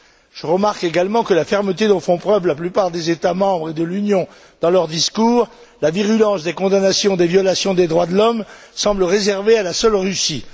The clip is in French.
Je remarque également que la fermeté dont font preuve la plupart des États membres de l'Union dans leurs discours et la virulence des condamnations des violations des droits de l'homme semblent réservées à la seule Russie.